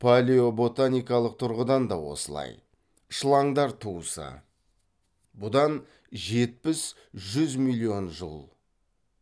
палеоботаникалық тұрғыдан да осылай шылаңдар туысы бұдан жетпіс жүз миллион жыл